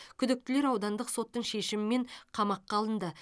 күдіктілер аудандық соттың шешімімен қамаққа алынды